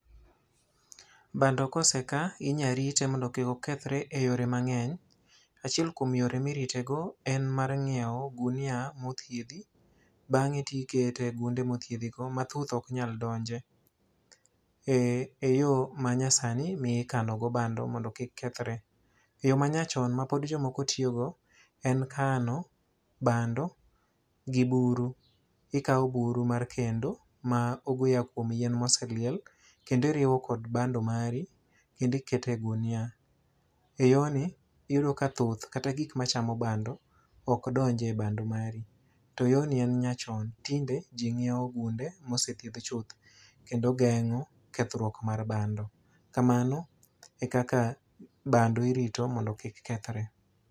Bando ka oseka inyarite mondo kik okethore e yore mangény. Achiel kuom yore ma irite go en mar ng'iewo gunia ma othiedhi, bangé to ikete e ogunia mothiedhi go, ma thuth ok nyal donje. E e yo manyasi ma ikano go bando mondo kik kethore. Yo manyachon, ma pod jomoko tiyogo, en kano bando gi buru. Ikawo buru mar kendo, ma kumo yien ma oseliel, kendo iriwo kod bando mari, kendo iketo e gunia. E yor ni, iyudo ka thuth kata gik machamo bando okdonjie bando mari. To yorni en nyachon. Tinde ji nyiewo gunde ma osethiedhi chuth kendo gengo kethruok mar bando. Kamano e kaka bando irito mondo kik kethore.